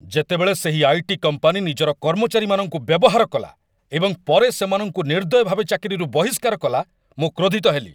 ଯେତେବେଳେ ସେହି IT. Company ନିଜର କର୍ମଚାରୀମାନଙ୍କୁ ବ୍ୟବହାର କଲା ଏବଂ ପରେ ସେମାନଙ୍କୁ ନିର୍ଦ୍ଦୟ ଭାବେ ଚାକିରିରୁ ବହିଷ୍କାର କଲା, ମୁଁ କ୍ରୋଧିତ ହେଲି।